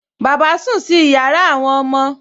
Bàbá sùn sí yàrá àwọn ọmọ